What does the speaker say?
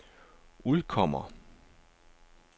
udkommer